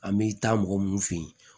An bɛ taa mɔgɔ mun fe yen